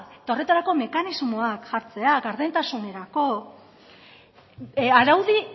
eta horretarako mekanismoak jartzea gardentasunerako araudi